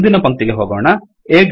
ಮುಂದಿನ ಪಂಕ್ತಿಗೆ ಹೋಗೋಣ